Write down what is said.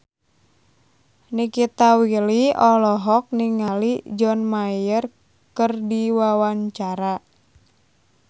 Nikita Willy olohok ningali John Mayer keur diwawancara